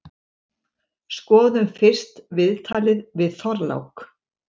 Skoðum fyrst viðtalið við Þorlák.